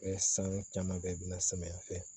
san caman kɛ i bɛna samiya fɛ